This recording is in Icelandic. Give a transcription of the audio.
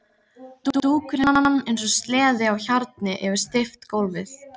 Dúkurinn rann eins og sleði á hjarni yfir steypt gólfið.